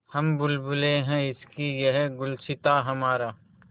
हम बुलबुलें हैं इसकी यह गुलसिताँ हमारा